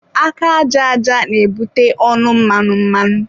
Aka àjà aja na-ebute ọnụ mmanụ mmanụ.